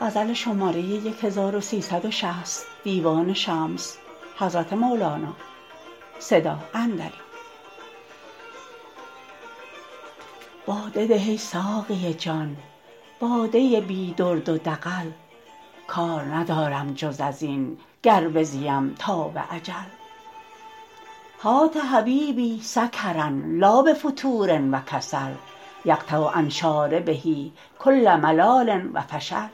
باده ده ای ساقی جان باده بی درد و دغل کار ندارم جز از این گر بزیم تا به اجل هات حبیبی سکرا لا بفتور و کسل یقطع عن شاربه کل ملال و فشل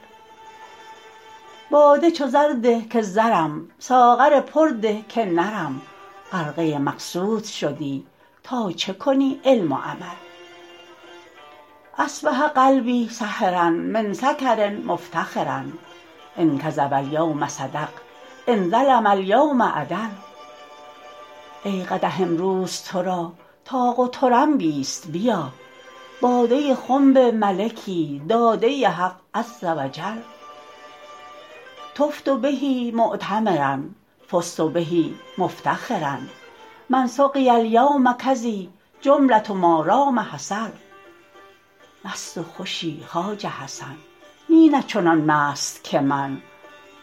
باده چو زر ده که زرم ساغر پر ده که نرم غرقه مقصود شدی تا چه کنی علم و عمل اصبح قلبی سهرا من سکر مفتخرا ان کذب الیوم صدق ان ظلم الیوم عدل ای قدح امروز تو را طاق و طرنبیست بیا باده خنب ملکی داده حق عز و جل طفت به معتمرا فزت به مفتخرا من سقی الیوم کذی جمله ما دام حصل مست و خوشی خواجه حسن نی نی چنان مست که من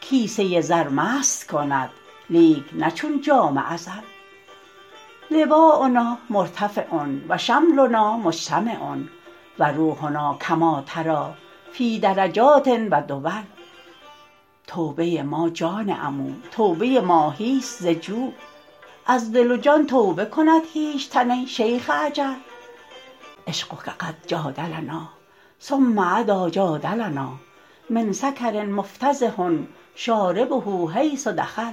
کیسه زر مست کند لیک نه چون جام ازل لواء نا مرتفع و شملنا مجتمع و روحنا کما تری فی درجات و دول توبه ما جان عمو توبه ماهیست ز جو از دل و جان توبه کند هیچ تن ای شیخ اجل عشقک قد جادلنا ثم عدا جادلنا من سکر مفتضح شاربه حیث دخل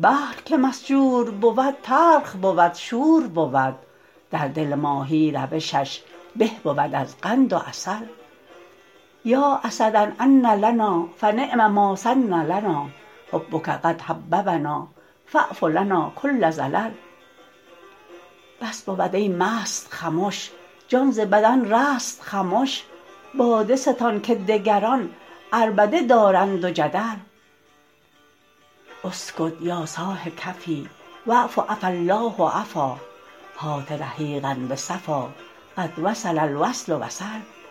بحر که مسجور بود تلخ بود شور بود در دل ماهی روشش به بود از قند و عسل یا اسدا عن لنا فنعم ما سن لنا حبک قد حببنا فاعف لنا کل زلل بس بود ای مست خمش جان ز بدن رست خمش باده ستان که دگران عربده دارند و جدل اسکت یا صاح کفی واعف عفا الله عفا هات رحیقا به صفا قد وصل الوصل وصل